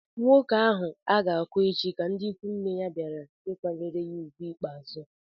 Nwoke ahụ a ga-akwa echi ka ndị ikwu nne ya bịara ịkwanyere ugwu ikpeazụ